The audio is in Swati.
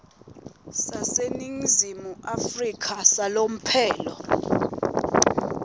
saseningizimu afrika salomphelo